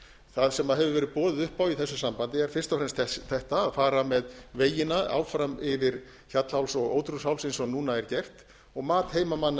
það sem hefur verið boðið upp á í þessu sambandi er fyrst og fremst þetta að fara með vegina áfram yfir hjallháls og ódrjúgsháls eins og núna er gert og mat heimamanna